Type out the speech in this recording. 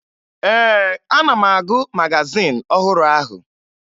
Ee, ana m agụ magazin ọhụrụ ahụ